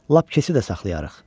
Lap keçi də saxlayarıq.